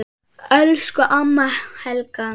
Elsku amma Helga.